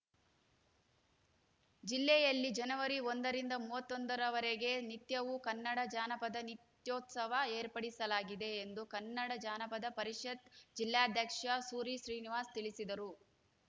ಜಿಲ್ಲೆಯಲ್ಲಿ ಜನವರಿ ಒಂದರಿಂದ ಮೂವತ್ತೊಂದರವರೆಗೆ ನಿತ್ಯವೂ ಕನ್ನಡ ಜಾನಪದ ನಿತ್ಯೋತ್ಸವ ಏರ್ಪಡಿಸಲಾಗಿದೆ ಎಂದು ಕನ್ನಡ ಜಾನಪದ ಪರಿಷತ್‌ ಜಿಲ್ಲಾಧ್ಯಕ್ಷ ಸೂರಿ ಶ್ರೀನಿವಾಸ್‌ ತಿಳಿಸಿದರು